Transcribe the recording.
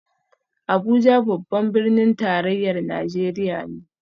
Abuja babban birnin tarayyar Najeriya ne